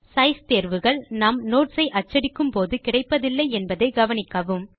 size தேர்வுகள் நாம் notes ஐ அச்சடிக்கும் போது கிடப்பதில்லை என்பதை கவனிக்கவும்